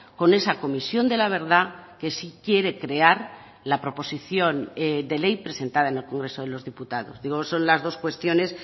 con esa comisión de la verdad que sí quiere crear la proposición de ley presentada en el congreso de los diputados digo son las dos cuestiones